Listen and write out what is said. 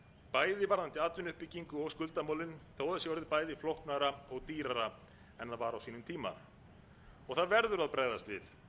bæði varðandi atvinnuuppbyggingu og skuldamálin þó það sé orðið bæði flóknara og dýrara en það var á sínum tíma það verður að bregðast við